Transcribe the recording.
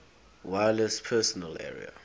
wireless personal area